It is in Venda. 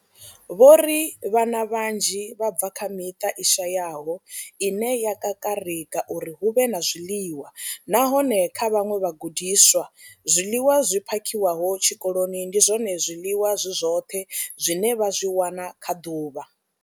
Vho ri vhana vhanzhi vha bva kha miṱa i shayaho ine ya kakarika uri hu vhe na zwiḽiwa, nahone kha vhaṅwe vhagudiswa, zwiḽiwa zwi phakhiwaho tshikoloni ndi zwone zwiḽiwa zwi zwoṱhe zwine vha zwi wana kha ḓuvha.